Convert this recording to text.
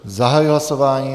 Zahajuji hlasování.